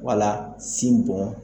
Wala sin bɔn